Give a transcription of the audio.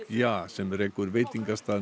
ja sem rekur veitingastað